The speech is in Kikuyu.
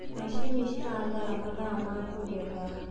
macinĩ cirathara mathaa ma kugetha